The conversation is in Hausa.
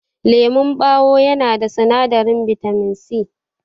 Lemon ɓawo yana da sinadarin bitamin C.